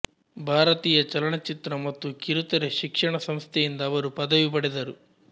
ಭಾರತೀಯ ಚಲನಚಿತ್ರ ಮತ್ತು ಕಿರುತೆರೆ ಶಿಕ್ಷಣ ಸಂಸ್ಥೆಯಿಂದ ಅವರು ಪದವಿ ಪಡೆದರು